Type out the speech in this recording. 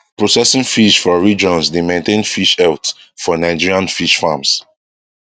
processing fish for regions dey maintain fish health for nigerian fish farms